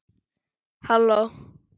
Halló